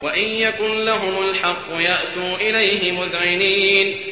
وَإِن يَكُن لَّهُمُ الْحَقُّ يَأْتُوا إِلَيْهِ مُذْعِنِينَ